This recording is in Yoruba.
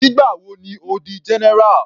Nígbà wo ni Ó di general.